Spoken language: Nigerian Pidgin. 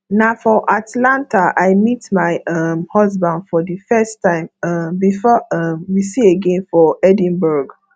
na for atlanta i meet my um husband for the first time um before um we see again for edinburgh